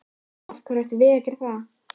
Af hverju ættum við að geta það?